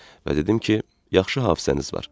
Və dedim ki, yaxşı hafizəniz var.